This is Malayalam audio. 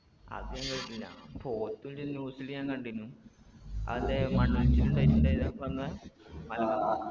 അതിങ്ങൾ അറിഞ്ഞിനാ പോത്ത് ഈടെ news ല് ഞാൻ കണ്ടിനു അതേ മണ്ണൊലിച്ചല് ഇണ്ടായിട്ടിണ്ടായി അപ്പൊ അന്ന്